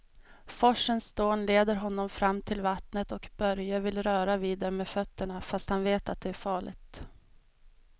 Forsens dån leder honom fram till vattnet och Börje vill röra vid det med fötterna, fast han vet att det är farligt.